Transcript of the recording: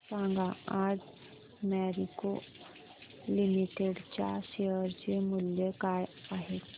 सांगा आज मॅरिको लिमिटेड च्या शेअर चे मूल्य काय आहे